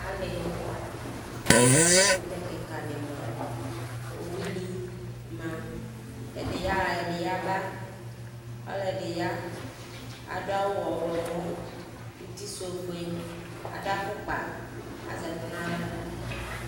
Ali Ɛkʋtɛ kikani ma, owuni ma, ɛdi yaha, ɛdi yaba, ɔlɔdi ya, adʋ awʋ ɔɣlɔmɔ, uti sʋ ofue Adʋ afʋkpa, azɛkʋ n'aɣla